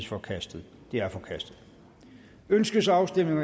forkastet det er forkastet ønskes afstemning